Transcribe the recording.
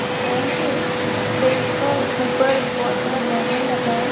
एक बैंक है बैंक का ऊपर एक बहुत बड़ा बैनर लगा हैं ।